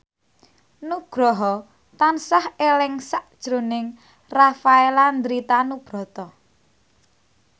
Nugroho tansah eling sakjroning Rafael Landry Tanubrata